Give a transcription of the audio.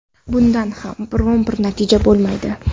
Bundan ham biron-bir natija bo‘lmaydi.